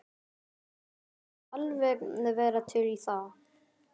Sagðist alveg vera til í það.